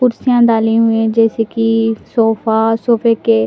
कुर्सियां डाली हुई है जैसे कि सोफा सोफे के--